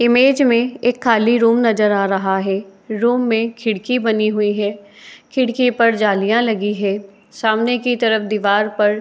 Image में एक खाली रूम नजर आ रहा है। रूम में खिड़की बनी हुई है। खिड़की पर जालीयां लगी है। सामने की तरफ दिवार पर --